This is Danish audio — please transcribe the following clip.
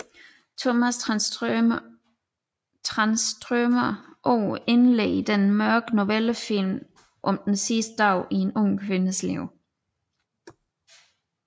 Tomas Tranströmer ord indleder denne mørke novellefilm om den sidste dag i en ung kvindes liv